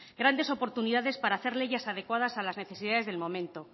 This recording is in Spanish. grandes oportunidades para hacer leyes adecuadas a las necesidades del momento